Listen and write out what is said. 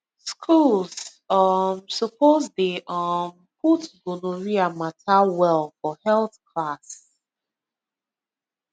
schools um suppose dey um put gonorrhea matter well for health class